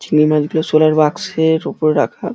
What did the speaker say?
চিংড়ি মাছগুলো শোলার বাক্সের উপর রাখা।